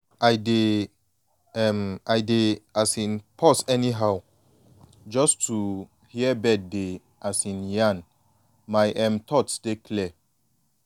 i dey um i dey um pause anyhow just to hear bird dey um yarn my um thoughts dey clear.